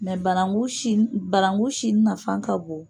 banangu sini barangu sini nafan ka bon.